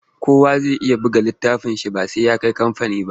Kowa zai iya buga littafinsa ba sai ya kai kamfani ba.